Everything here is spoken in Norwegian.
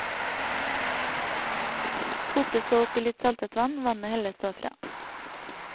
Kokes så opp i litt saltet vann, vannet helles så fra.